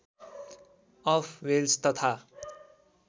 of Wales तथा